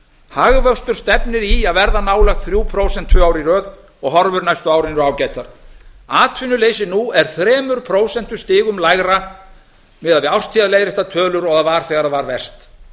hagvöxtur stefnir í að verða nálægt þrjú prósent tvö ár í röð og horfur næstu árin eru ágætar atvinnuleysi nú er þremur prósentustigum lægra miðað við árstíðaleiðréttar tölur og það var þegar það var verst